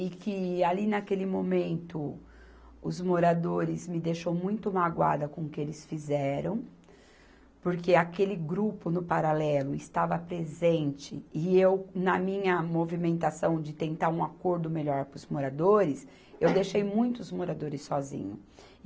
e que, ali naquele momento, os moradores me deixou muito magoada com o que eles fizeram, porque aquele grupo, no paralelo, estava presente e eu, na minha movimentação de tentar um acordo melhor para os moradores, eu deixei muito os moradores sozinhos.